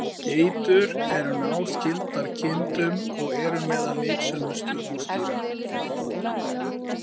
Geitur eru náskyldar kindum og eru meðal nytsömustu húsdýra.